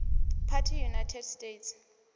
party united states